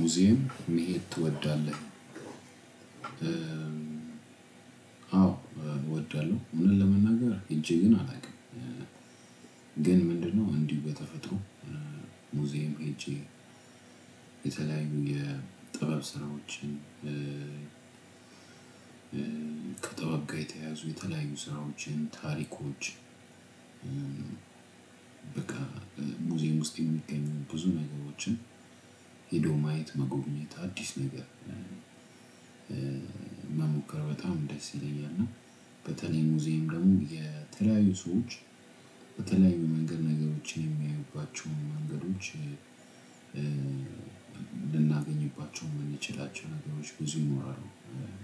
ሙዚየም መሄድ ትወዳለህ? አዎ እወዳለሁ እውነት ለመናገር እጅግ ግን አላውቅም። ግን ምንድነው እንዲህ በተፈጥሮ ሙዚየም ሄጄ የተለያዩ የጥበብ ስራዎችን። ከጥበብጋ የተያዙ የተለያዩ ስራዎችን ታሪኮች። በቃ ሙዚየም ውስጥ የሚገኙ ብዙ ነገሮችን ሄዶ ማየት መጎብኘት አዲስ ነገር። መሞከር በጣም ደስ ይለኛል። እና በተለይ ሙዚየም ደግሞ የተለያዩ ሰዎች በተለያዩ መንገድ ነገሮችን የሚያዩባቸውን መንገዶች ልናገኝባቸው የማንችላቸው ነገሮች ብዙ ይኖራሉ።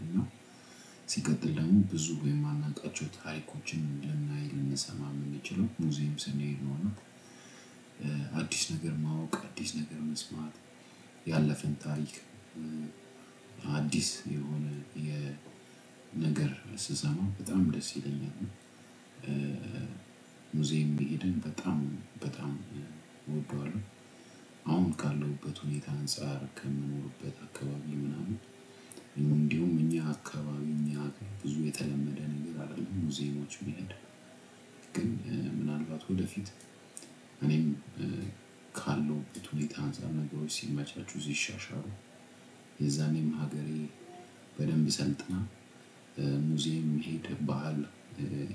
እና ሲቀጥል ደግሞ ብዙ የማናውቃቸው ታሪኮችን ልናይ ልንሰማ የምንችለው ሙዚየም ሰኔድ ነው። እና አዲስ ነገር ማወቅ አዲስ ነገር መስማት ያለፈን ታሪክ። አዲስ የሆነ የነገር ስሰማው በጣም ደስ ይለኛል። ሙዚየም መሄድን በጣም በጣም እወደዋለሁ። አሁን ካለሁበት ሁኔታ አንፃር ከምንኖርበት አካባቢ ምናምን እንዲሁም እኛ አካባቢ እኛ ብዙ የተለመደ ነገር አይደለም ሙዚየሞች መሄድ። ግን ምናልባት ወደፊት እኔም ካለውበት ሁኔታ አንፃር ነገሮች ሲመቻቹ ሲሻሻሉ የዛኔም ሀገሬ በደንብ ሰልጥና ሙዜም መሄድ ባህል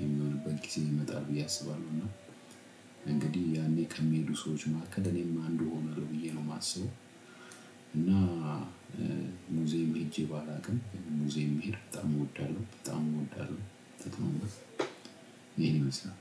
የሚሆንበት ጊዜ ይመጣል። ብየ አስባለሁ እና እንግዲህ ያኔ ከሚሄዱ ሰዎች ማሀከል እኔም አንዱ ሆናለሁ ብዬ ነው የማስበው። እና ሙዚየም ሄጄ ባላውቅም ሙዚየም መሄድ በጣም እወዳለሁ በጣም እወዳለሁ። በጣም ይሄን ይመስላል።